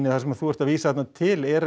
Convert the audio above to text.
það sem þú ert að vísa þarna til eru